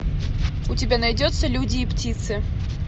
у тебя найдется люди и птицы